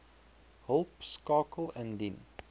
hulp skakel indien